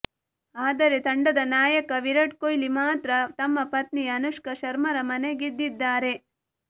ಆದರೆ ತಂಡದ ನಾಯಕ ವಿರಾಟ್ ಕೊಹ್ಲಿ ಮಾತ್ರ ತಮ್ಮ ಪತ್ನಿ ಅನುಷ್ಕಾ ಶರ್ಮಾರ ಮನಗೆದ್ದಿದ್ದಾರೆ